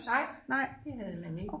Nej det havde man ikke